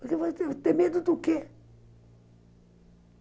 Para que eu vou ter medo do quê?